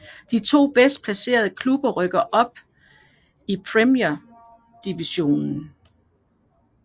De to bedst placerede klubber rykker op i Gibraltar Premier Division